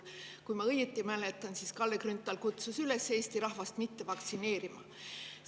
Kui ma õigesti mäletan, siis kutsus Kalle Grünthal Eesti rahvast üles ennast mitte vaktsineerima.